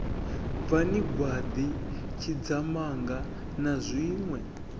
bvani gwaḓi tshidzamanga na zwiṋwe